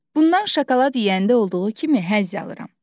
Bundan şokolad yeyəndə olduğu kimi həzz alıram.